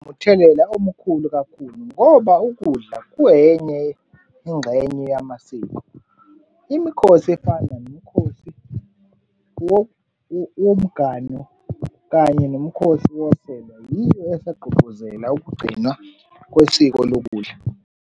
Umthelela omkhulu kakhulu ngoba ukudla kuyenye ingxenye yamasiko. Imikhosi efana nomkhosi womgano kanye nomkhosi woselwa yiyo esagqugquzela ukugcinwa kwesiko lokudla.